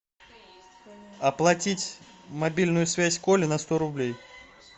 оплатить мобильную связь коли на сто рублей